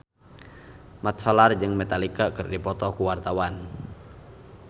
Mat Solar jeung Metallica keur dipoto ku wartawan